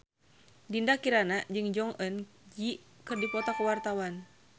Dinda Kirana jeung Jong Eun Ji keur dipoto ku wartawan